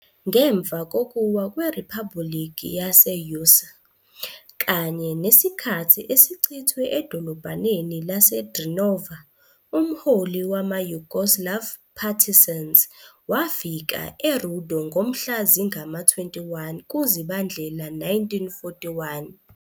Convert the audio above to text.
Ngemva kokuwa kweRiphabhulikhi yase-Užice kanye nesikhathi esichithwe edolobhaneni lase- Drenova umholi wama- Yugoslav Partisans wafika e-Rudo ngomhla zingama-21 kuZibandlela 1941